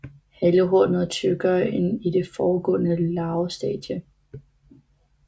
Halehornet er tykkere end i det foregående larvestadie